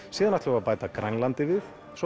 síðan ætlum við að bæta Grænlandi við svo